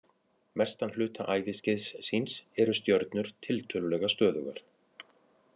Mestan hluta æviskeiðs síns eru stjörnur tiltölulega stöðugar.